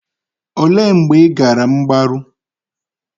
Olee mgbe ị gara mgbaru?